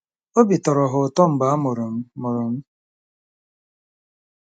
Obi tọrọ ha ụtọ mgbe a mụrụ m. mụrụ m.